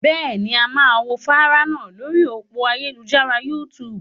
Bẹ́ẹ̀ ni, a máa wo fánrán náà lórí òpó ayélujára YouTube.